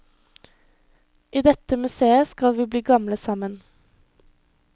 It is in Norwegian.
I dette museet skulle vi bli gamle sammen.